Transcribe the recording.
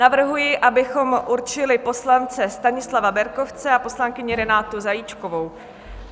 Navrhuji, abychom určili poslance Stanislava Berkovce a poslankyni Renátu Zajíčkovou.